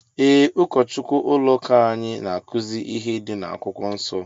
Ee ụkọchukwu ụlọ ụka anyị na akuzi ihe dị na akwụkwọ nsó.